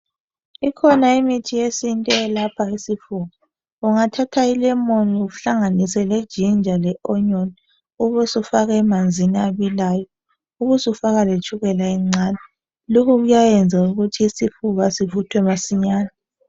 Kukhona imithi yesintu eyelapha isifuba. Ungathatha i lemoni uhlanganise le ginger le onyoni, ube usufaka emanzini abilayo, ube usufaka letshukela encane, lokho kuyayenza ukuthi isifuba sivuthwe masinyane.